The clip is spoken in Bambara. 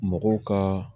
Mɔgɔw ka